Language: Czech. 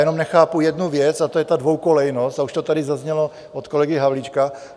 Jenom nechápu jednu věc, a to je ta dvojkolejnost - a už to tady zaznělo od kolegy Havlíčka.